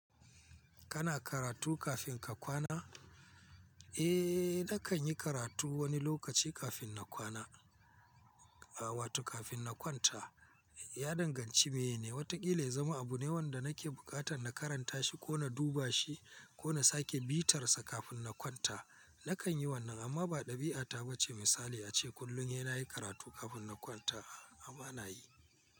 Kana karatu kafin ka kwana? Eh, na kan yi karatu wani lokaci kafin na kwana, wato kafin na kwanta. Ya danganci mene, watakila ya zama abu ne wanda nake buƙatan na karanta shi ko na duba shi ko na sake bitarsa kafin na kwanta. Na kan yi wannan amma ba ɗabi'a ta ba ce misali ace kullum sai na yi karatu kafin na kwanta ah ah bana yi.